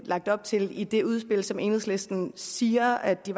lagt op til i det udspil som enhedslisten siger at de